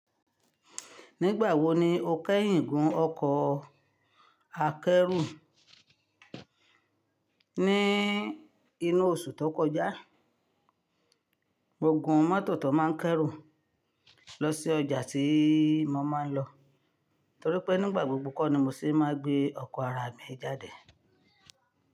Nígbà wo ni o kẹ́yìn gún ọkọ̀ akẹ́rù? Ní inú oṣù tó kọjá, mo gùn mọ́tò tó máa ń kẹ́rù lọ sí ọjà tí mo máa ń lọ, torí pé nígbà gbogbo kọ́ ni mo sì máa ń gbé ọkọ̀ ara mi jáde.